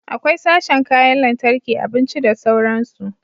Akwai sashen kayan lantarki, abinci da sauransu